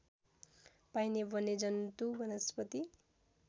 पाइने वन्यजन्तु वनस्पति